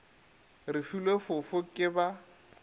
re filwe fofo ke ba